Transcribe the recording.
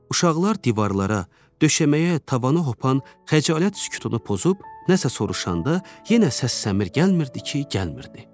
Uşaqlar divarlara, döşəməyə, tavana hopan xəcalət sükutunu pozub nəsə soruşanda yenə səssəmir gəlmirdi ki, gəlmirdi.